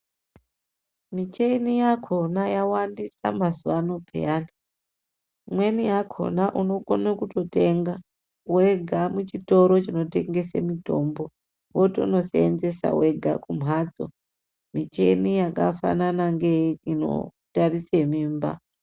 Micheni yakona ya wandisa mazuva ano peyani imweni yakona unokone kuto tenga wega mu chitoro chino tengese mitombo wotono senzesa wega ku mbatso micheni yaka fanana nge ino tarise mimba.